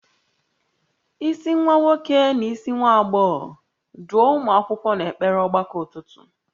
Isi nwa nwoke na isi nwa agbọghọ, duo ụmụ akwụkwọ n'ekpere ọgbakọ ụtụtụ